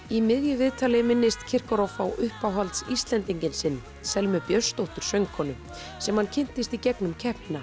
í miðju viðtali minnist á uppáhalds Íslendinginn sinn Selmu Björnsdóttir söngkonu sem hann kynntist í gegnum keppnina